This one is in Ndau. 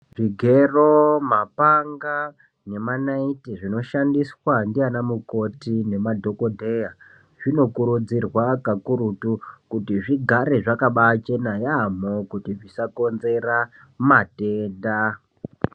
Zvigero, zvipanga nemanaiti zvinoshandiswa ndiana mukoti nemadhokodheya zvinokurudzirwa pakurutu kuti zvigare zvakabachena yaamho kuti zvisakonzera matenda.